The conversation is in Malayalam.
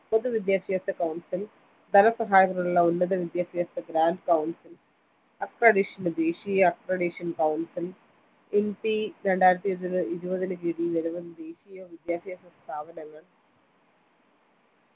പൊതുവിദ്യാഭ്യാസ council ധനസഹായത്തിനുള്ള ഉന്നത വിദ്യാഭ്യാസ grand council accredition ദേശീയ accredition councilNP രണ്ടായിരത്തിഇരുപതിന് കീഴിൽ നിരവധി പുതിയ വിദ്യാഭ്യാസ സ്ഥാപനങ്ങൾ